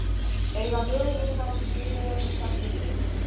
Eiga möguleika á sjöunda titlinum